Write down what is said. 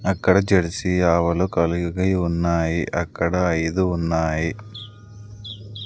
అక్కడ జెర్సీ ఆవులు కలిగి ఉన్నాయి అక్కడ ఐదు ఉన్నాయి.